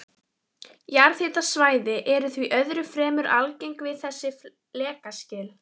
Jarðhitasvæði eru því öðru fremur algeng við þessi flekaskil.